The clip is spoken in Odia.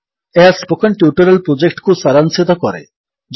ଏହା ସ୍ପୋକନ୍ ଟ୍ୟୁଟୋରିଆଲ୍ ପ୍ରୋଜେକ୍ଟକୁ ସାରାଂଶିତ କରେ